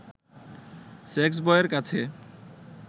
সেক্সবয়ের কাছে